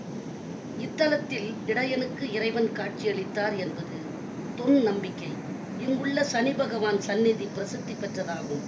இத்தலத்தில் இடையனுக்கு இறைவன் காட்சியளித்தார் என்பது தொன்நம்பிக்கை இங்குள்ள சனிபகவான் சந்நிதி பிரசித்தி பெற்றதாகும்